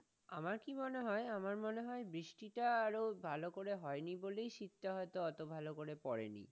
আমার কি মনে হয়, আমার মনে হয় বৃষ্টিটা আরো ভালো করে হয়নি বলেই শীতটা হয়তো অত ভালোকরে পড়েনি।